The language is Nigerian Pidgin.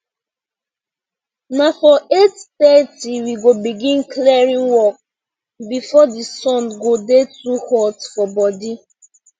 na for eight thirty we go begin clearing work before the sun go dey too hot for body